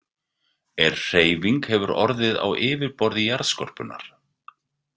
Ef hreyfing hefur orðið á yfirborði jarðskorpunnar.